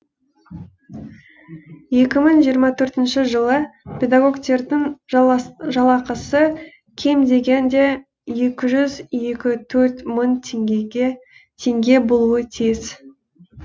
екі мың жиырма төртінші жылы педагогтердің жалақысы кем дегенде екі жүз жиырма төрт мың теңге болуы тиіс